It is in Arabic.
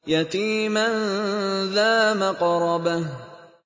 يَتِيمًا ذَا مَقْرَبَةٍ